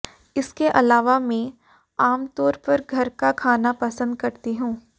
इसके अलावा मैं आमतौर पर घर का खाना पसंद करती हूं